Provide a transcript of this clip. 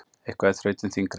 Eitthvað er þrautin þyngri